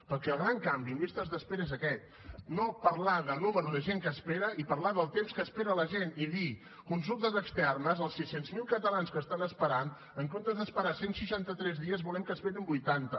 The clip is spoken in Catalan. perquè el gran canvi en llistes d’espera és aquest no parlar del nombre de gent que espera i parlar del temps que espera la gent i dir consultes externes els sis cents miler catalans que estan esperant en comptes d’esperar cent i seixanta tres dies volem que n’esperin vuitanta